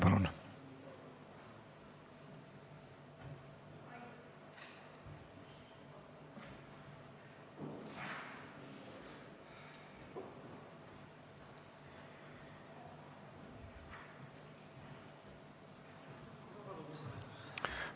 Palun lisaaega!